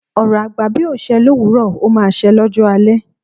Ọ̀rọ̀ àgbà bí ò ṣẹ́ lówuro, o máa se lọ́jọ́ alẹ̀